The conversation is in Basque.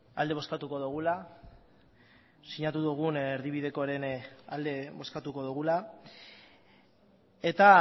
alde bozkatuko dugula sinatu dugun erdibidekoaren alde bozkatuko dugula eta